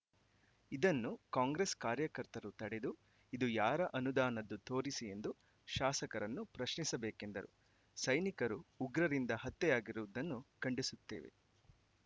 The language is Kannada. ಇದನ್ನು ಕಾಂಗ್ರೆಸ್‌ ಕಾರ್ಯಕರ್ತರು ತಡೆದು ಇದು ಯಾರ ಅನುದಾನದ್ದು ತೋರಿಸಿ ಎಂದು ಶಾಸಕರನ್ನು ಪ್ರಶ್ನಿಸಬೇಕೆಂದರು ಸೈನಿಕರು ಉಗ್ರರಿಂದ ಹತ್ಯೆಯಾಗಿರುವುದನ್ನು ಖಂಡಿಸುತ್ತೆವೆ